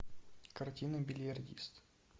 картина бильярдист